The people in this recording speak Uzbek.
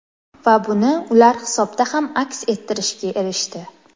Va buni ular hisobda ham aks ettirishga erishdi.